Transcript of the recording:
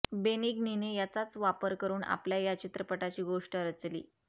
बेनिग्नीने याचाच वापर करून आपल्या या चित्रपटाची गोष्ट रचली